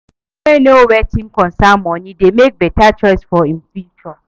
Pesin wey know wetin concern moni dey mek beta choices for im future